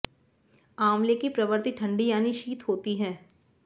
आंवले की प्रवृत्ति ठंडी यानी शीत होती है